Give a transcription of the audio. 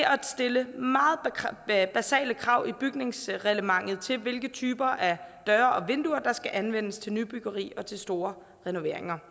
at stille meget basale krav i bygningsreglementet til hvilke typer døre og vinduer der skal anvendes til nybyggeri og til store renoveringer